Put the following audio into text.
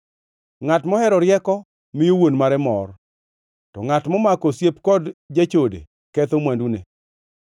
Ngʼat mohero rieko miyo wuon mare mor, to ngʼat momako osiep kod jachode ketho mwandune.